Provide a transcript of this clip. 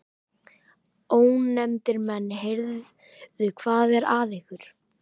Ónefndir menn: Heyrðu, hvað er að ykkur?